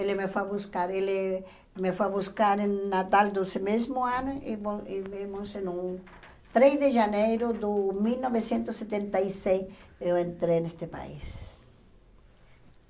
Ele me foi buscar, ele me foi buscar em natal do mesmo ano, e bom e vimos num três de janeiro do mil novecentos e setenta e seis, eu entrei neste país.